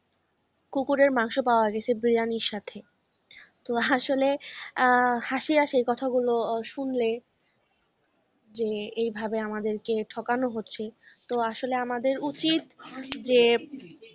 কুকুরের মাংস পাওয়া গেছে বিরিয়ানির সাথে তো আসলে আহ হাসি আসে এই কথাগুলো শুনলে যে এভাবে আমাদেরকে ঠকানো হচ্ছে তো আসলে আমাদের উচিত যে